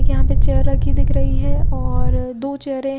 यहां पे चेयर रखी दिख रही है और दो चेयरे --